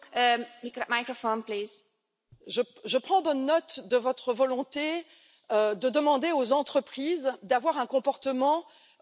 Je prends bonne note de votre volonté de demander aux entreprises d'avoir un comportement respectueux des populations.